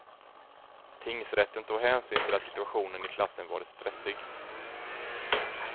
Tingsrätten tog hänsyn till att situationen i klassen varit stressig.